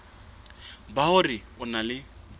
ba hore o na le